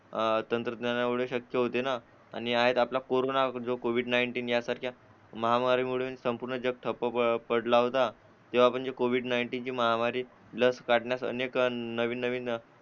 अं तंत्रज्ञानामुळे शक्य होते ना आणि कोरोना कोविड-नायटिन यासारख्या महामारी मुळे पूर्ण जग ठप्प पडला होता होता जेव्हा म्हणजे कोविड-नायटिन ची महामारी लस काढण्यात अनेक नवनवीन